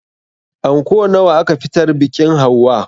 Anko nawa aka fitar biƙin hauwa?